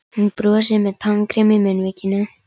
Hann brosir með tannkrem í munnvikunum.